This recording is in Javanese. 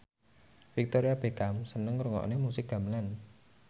Victoria Beckham seneng ngrungokne musik gamelan